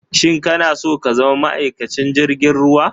Shin ka na so ka zama ma'aikacin jirgin ruwa?